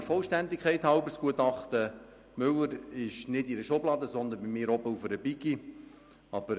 Der Vollständigkeit halber: Das Gutachten von Professor Markus Müller liegt nicht in einer Schublade, sondern bei mir oben auf einem Stapel.